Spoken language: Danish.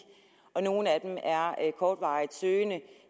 og nogle af dem er kortvarigt søgende